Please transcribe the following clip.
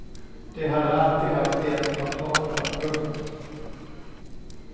De hade alltid haft lätt för att prata. punkt